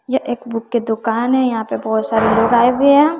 यह एक बुक की दुकान है यहां पे बहुत सारे लोग आए हुए है।